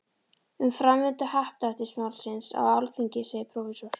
Um framvindu happdrættis-málsins á Alþingi segir prófessor